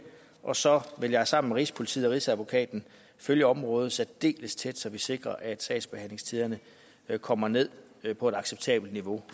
og så vil jeg sammen med rigspolitiet og rigsadvokaten følge området særdeles tæt så vi sikrer at sagsbehandlingstiderne kommer ned på et acceptabelt niveau